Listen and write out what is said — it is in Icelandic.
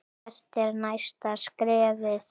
Hvert er næsta skrefið?